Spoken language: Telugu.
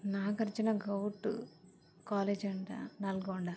నాగార్జున గావ్ట్ కాలేజీ అంట నల్గొండ.